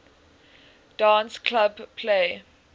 dance club play